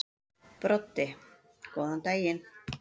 Broddi: Góðan daginn.